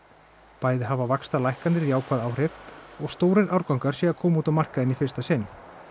bæði hafi vaxtalækkanir jákvæð áhrif og stórir árgangar séu að koma út á markaðinn í fyrsta sinn